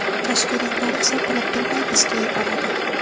Tashkilotlar esa bilib-bilmay bizga yuboradi.